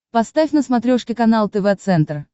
поставь на смотрешке канал тв центр